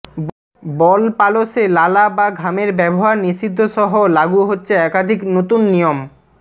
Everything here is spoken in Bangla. বল পালশে লালা বা ঘামের ব্যবহার নিষিদ্ধ সহ লাগু হচ্ছে একাধিক নতুন নিয়ম